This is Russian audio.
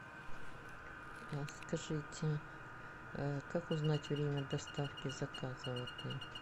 скажите как узнать время доставки заказа в отель